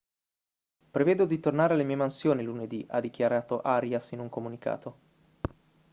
prevedo di tornare alle mie mansioni lunedì ha dichiarato arias in un comunicato